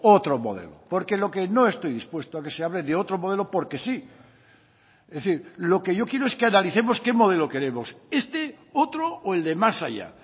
otro modelo porque lo que no estoy dispuesto a que se hable de otro modelo porque sí es decir lo que yo quiero es que analicemos qué modelo queremos este otro o el de más allá